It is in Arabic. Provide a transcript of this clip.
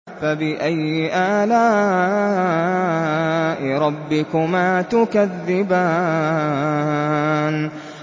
فَبِأَيِّ آلَاءِ رَبِّكُمَا تُكَذِّبَانِ